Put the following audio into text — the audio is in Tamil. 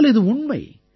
ஆனால் இது உண்மை